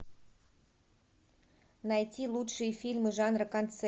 найти лучшие фильмы жанра